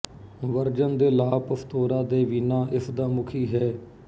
version ਦੇ ਲਾ ਪਸਤੋਰਾ ਦੇਵੀਨਾ ਇਸ ਦਾ ਮੁੱਖੀ ਹੈ